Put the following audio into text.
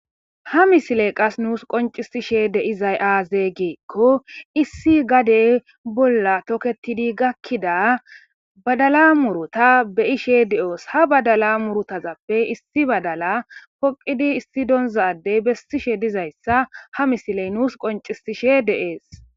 ha misile qas nuus qoncisishe deizay aaze geekko issi gadey bolla toketidi gakkida badala murota be'ishe de7oos ha badala murutazappe issi badala poqidi issi donzadey bessishe dizayssa ha misiley nuus qoncisishe deees